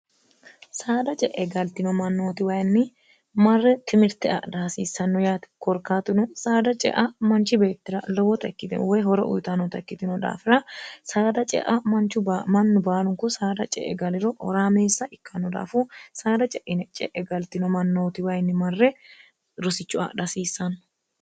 saada ce'e galtino mannootiwayinni marre timirte adha hasiissanno yaati korkaatuno saada cea manchi beettira lowota ikkitino woy horo uyitanota ikkitino daafira saada cea manchu mannu baalunku saada ce e galiro oraameessa ikkannu daafu saada ceie ce'e galtino mannootiwayinni marre rosichu adhi hasiissanno